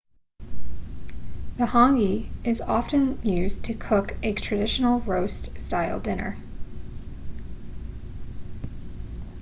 the hangi is often used to cook a traditional roast style dinner